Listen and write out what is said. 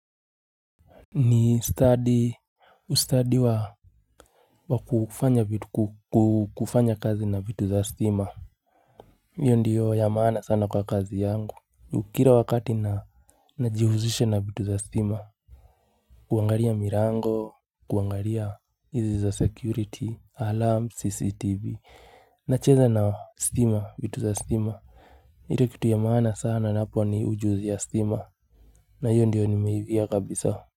Ni studi ustadi wa wa kufanya kazi na vitu za stima hiyo ndiyo ya maana sana kwa kazi yangu kira wakati na najihuzisha na vitu za stima kuangaria mirango kuangaria izi za security alarm cctv nacheza na stima vitu za stima ire vitu ya maana sana napo ni ujuzi ya stima na hiyo ndiyo nimeivia kabisa.